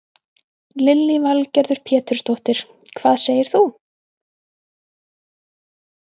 Lillý Valgerður Pétursdóttir: Hvað segir þú?